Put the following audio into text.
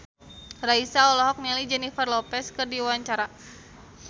Raisa olohok ningali Jennifer Lopez keur diwawancara